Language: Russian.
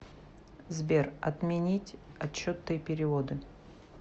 сбер отменить отчеты и переводы